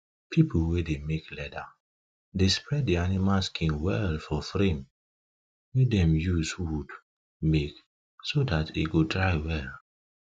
people wey dey make leather dey spread de animal skin well for frame wey dem use wood make so dat e go dry well